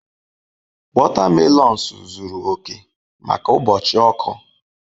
Wotamelons zuru oke maka ụbọchị ọkụ.